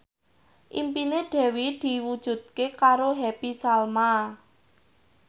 impine Dewi diwujudke karo Happy Salma